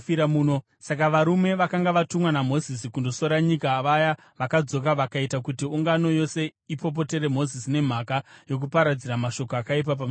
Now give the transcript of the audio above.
Saka varume vakanga vatumwa naMozisi kundosora nyika, vaya vakadzoka vakaita kuti ungano yose ipopotere Mozisi nemhaka yokuparadzira mashoko akaipa pamusoro payo: